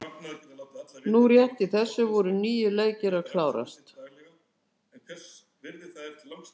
Núna rétt í þessu voru níu leikir að klárast.